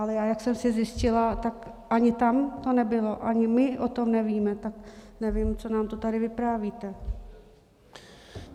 Ale já, jak jsem si zjistila, tak ani tam to nebylo, ani my o tom nevíme, tak nevím, co nám to tady vyprávíte.